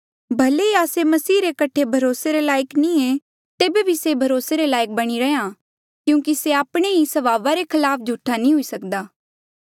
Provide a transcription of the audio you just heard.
भले ही आस्से मसीह रे कठे भरोसे रे लायक नी ऐें तेबे भी से भरोसे रे लायक बणी रैंहयां क्यूंकि से आपणे ही स्वभावा रे खलाफ झूठा नी हुई सक्दा